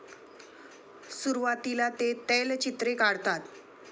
सुरुवातीला ते तैलचित्रे काढतात.